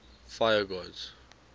fire gods